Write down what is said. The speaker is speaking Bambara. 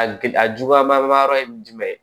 A gili a juguya ba yɔrɔ ye jumɛn ye